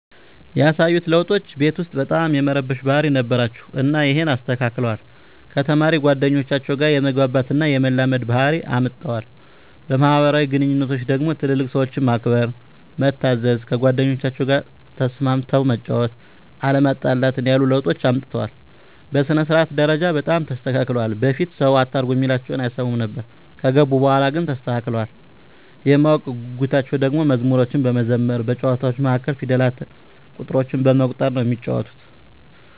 ያሳዩት ለዉጦች ቤት ዉስጥ በጣም የመረበሽ ባህሪ ነበራቸዉ እና ይሀንን አስተካክለዋል፣ ከተማሪ ጓደኞቻቸዉ ጋ የመግባባት እና የመላመድ ባህሪ አምጠዋል። በማህበራዊ ግንኙነቶች ደግሞ ትልልቅ ሰዎችን ማክበር፣ መታዘዝ፣ ከጓደኞቻቸዉ ጋ ተስማምተህ መጫወት፣ አለመጣላትን ያሉ ለዉጦችን አምጥተዋል። በሥነ-ስርዓት ደረጃ በጣም ተስተካክለዋል በፊት ሰዉ አታርጉ እሚላቸዉን አይሰሙም ነበር ከገቡ በኋላ ግን ተስተካክለዋል። የማወቅ ጉጉታቸዉ ደሞ መዝሙሮችን በመዘመር በጨዋታዎች መሀል ፊደላትን፣ ቁጥሮችን በመቁጠር ነዉ እሚጫወቱት።